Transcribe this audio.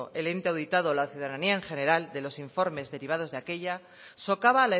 el ente auditado o la ciudadanía en general de los informes derivados de aquella socava